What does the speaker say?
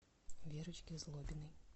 верочке злобиной